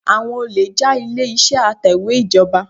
Àwọn olè já ilé-ìṣẹ́ atẹ̀wẹ́ ìjọba.